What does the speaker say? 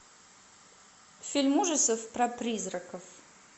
фильм ужасов про призраков